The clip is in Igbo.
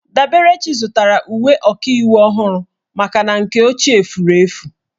Daberechi zụtara uwe ọkaiwu ọhụrụ maka na nke ochie furu efu.